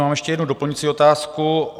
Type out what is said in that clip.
Mám ještě jednu doplňující otázku.